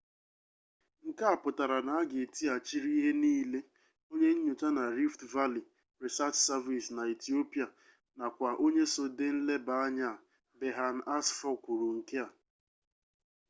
nke a pụtara na a ga-etighachirịrị ihe niile onye nyocha na rift valley research service na ethiopia nakwa onye so dee nlebaanya a berhane asfaw kwuru nke a